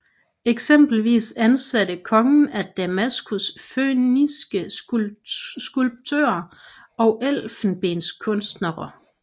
Eksempelvis ansatte kongen af Damaskus fønikiske skulptører og elfenbenskunstnere